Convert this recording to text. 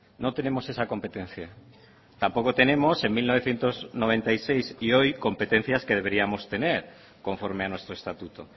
no tenemos esa competencia tampoco tenemos en mil novecientos noventa y seis y hoy competencias que deberíamos de tener conforme a nuestro estatuto